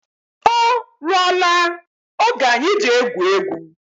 O rụọ la oge anyị ji egwu égwu